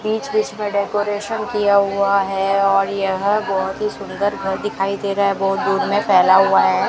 बीच बीच में डेकोरेशन किया हुआ है और यह बहोत ही सुंदर घर दिखाई दे रहा है बहोत दूर में फैला हुआ है।